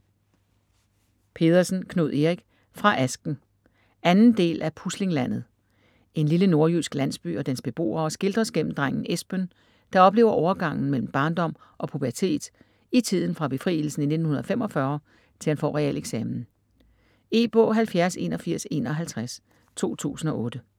Pedersen, Knud Erik: Fra asken 2. del af Puslinglandet. En lille nordjysk landsby og dens beboere skildres gennem drengen Esben, der oplever overgangen mellem barndom og pubertet i tiden fra befrielsen i 1945 til han får realeksamen. E-bog 708151 2008.